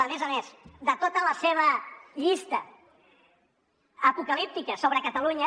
a més a més de tota la seva llista apocalíptica sobre catalunya